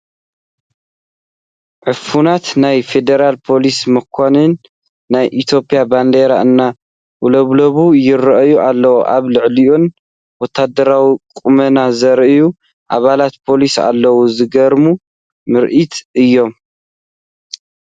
ዕፉናት ናይ ፊደራል ፖሊስ መኻይን ናይ ኢትዮጵያ ባንዴራ እንዳውለብለባ ይርአያ ኣለዋ፡፡ ኣብ ልዕሊአን ወታደራዊ ቁመና ዘርእዩ ኣባላት ፖሊስ ኣለዉ፡፡ ዝገርም ምርኢት እዩ፡፡